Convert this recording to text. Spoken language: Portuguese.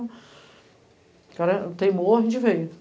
O cara teimou, a gente veio.